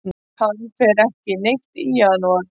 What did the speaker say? Hann fer ekki neitt í janúar.